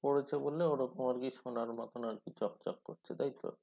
পরেছে বলে ওরকম আর কি সোনার মতন আর কি চকচক করছে তাই তো?